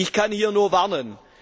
Ich kann hier nur warnen.